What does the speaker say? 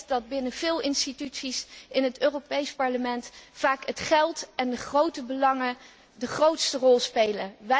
Ik weet dat binnen veel instanties in het Europees Parlement vaak het geld en de grote belangen de grootste rol spelen.